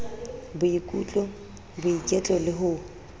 boikutlo boiketlo le ho o